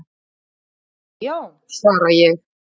"""Já já, svara ég."""